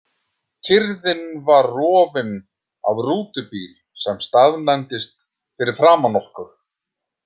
Kyrrðin var rofinn af rútubíl sem staðnæmdist fyrir framan okkur.